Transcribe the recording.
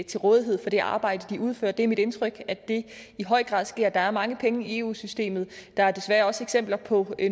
til rådighed for det arbejde de udfører det er mit indtryk at det i høj grad sker der er mange penge i eu systemet og der er desværre også eksempler på